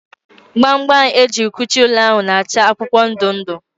gba gba m ejiri kuchie ụlọ ahụ na acha akwụkwọ ndị ndụ